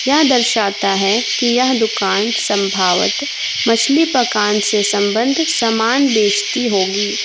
यह दर्शाता है कि यह दुकान संभव्वत मछली पकाने से संबंध सामान बेचती होगी।